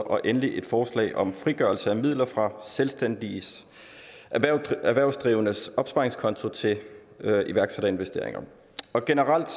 og endelig et forslag om frigørelse af midler fra selvstændigt erhvervsdrivendes opsparingskonti til iværksætterinvesteringer generelt